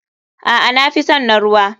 Aa nafison na ruwa.